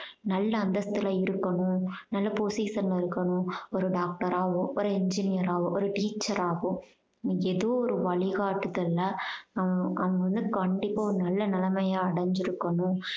நல்ல அந்தசஸ்துல இருக்கணும் நல்ல position ல இருக்கணும். ஒரு doctor ஆவோ ஒரு engineer ஆவோ ஒரு teacher ஆவோ இன்னைக்கி ஏதோ ஒரு வழி காட்டுதல்ல உம் அவங்க அவங்க வந்து கண்டிப்பா ஒரு நல்ல நிலமைய அடைஞ்சிருக்கணும்